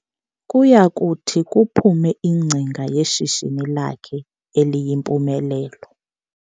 Kuyakuthi kuphume ingcinga yeshishini lakhe eliyimpumelelo.